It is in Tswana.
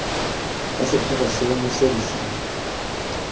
ya setlhogo seo mo serising